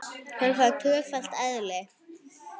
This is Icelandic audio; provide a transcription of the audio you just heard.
Hann fær tvöfalt eðli.